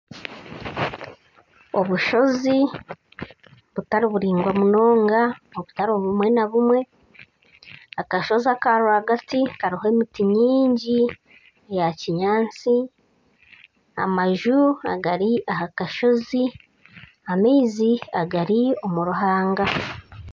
Obushozi batari buraingwa munonga butari bumwe na bumwe, akashozi akarwagati kariho emiti mingi ya kinyaatsi, amaju agari aha kashozi, amaizi gari omuruhanga